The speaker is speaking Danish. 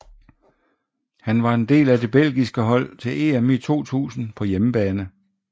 Han var en del af det belgiske hold til EM i 2000 på hjemmebane